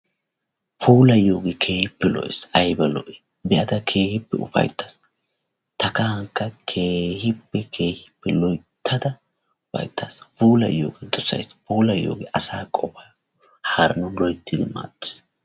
Puulayiyoogee keehippe lo'ees. Aybba lo"i! be"ada keehippe ufayittaas. Ta kahankka keehippe keehippe loyittada ufayittaas. Puulayiyooga dosayis. Puulayiyooge asaa qofaa haaranawu loyittidi maaddees.